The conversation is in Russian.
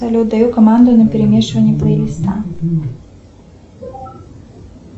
салют даю команды на перемешивание плейлиста